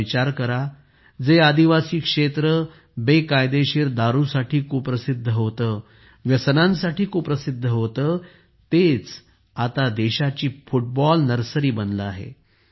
जरा विचार करा जे आदिवासी क्षेत्र बेकायदेशीर दारूसाठी कुप्रसिद्ध होते व्यसनांसाठी कुप्रसिद्ध होते तेच आता देशाची फुटबॉल नर्सरी बनले आहे